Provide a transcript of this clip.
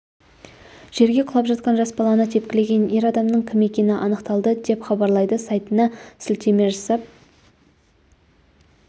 жерге құлап жатқан жас баланы тепкілеген ер адамның кім екені анықталды деп хабарлайды сайтына сілтеме жасап